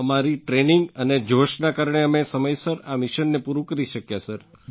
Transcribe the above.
અમારી ટ્રેનિંગ અને જોશના કારણે અમે સમયસર આ મિશનને પૂરું કરી શક્યા સર